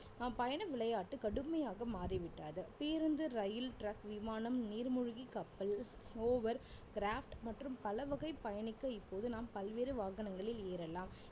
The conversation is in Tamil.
நம் பயண விளையாட்டு கடுமையாக மாறிவிட்டது பேருந்து, ரயில் truck விமானம், நீர்மூழ்கி கப்பல், hovercraft மற்றும் பலவகை பயணிக்க இப்போது நாம் பல்வேறு வாகனங்களில் ஏறலாம்